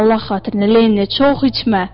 Allah xatirinə, Lenni, çox içmə!